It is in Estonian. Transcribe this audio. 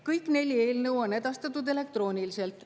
Kõik neli eelnõu on edastatud elektrooniliselt.